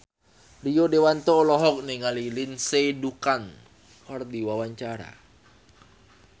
Rio Dewanto olohok ningali Lindsay Ducan keur diwawancara